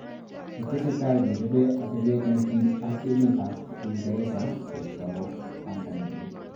"Kitesetaai kechobe atebeet nekiim ak emet ap uingeresa yetau baanda nelel